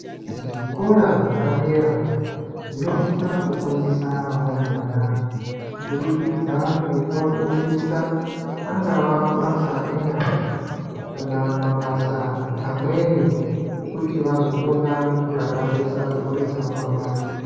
Zvikora zvepadera zvinosisa kufundisa varumbwana kubudikidza ngekuvafundisa angava mabasa enyara kana mabasa amweni ekuti vazokona kuraramisa mburi dzavo mangwani.